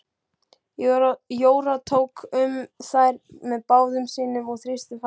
Jóra tók um þær með báðum sínum og þrýsti fast.